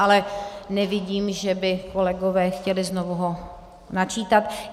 Ale nevidím, že by kolegové chtěli znovu ho načítat.